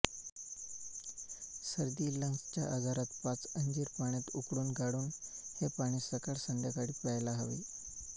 सर्दी लंग्स च्या आजारात पाच अंजीर पाण्यात उकळून गाळून हे पाणी सकाळ संध्याकाळी प्यायला हवे